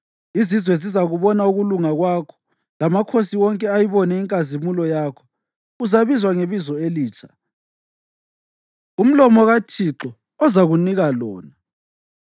Izizwe zizakubona ukulunga kwakho, lamakhosi wonke ayibone inkazimulo yakho. Uzabizwa ngebizo elitsha umlomo kaThixo ozakunika lona.